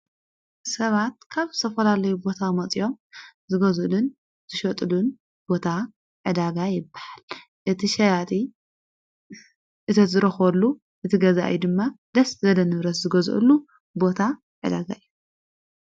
ሰባት ካብ ሰፈላለይ ቦታ መጺኦም ዝገዙልን ዘሸጡሉን ቦታ ዕዳጋ የበሃል እቲ ሸያጢ እተዝረኾሉ እቲ ገዛእዩ ድማ ደስት ዘደ ንብረስ ዝገዘሉ ቦታ ኣዳጋ እየ::